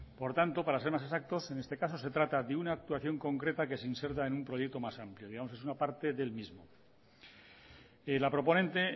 por tanto para ser más exactos en este caso se trata de una actuación concreta que se inserta en un proyecto más amplio digamos que es una parte del mismo la proponente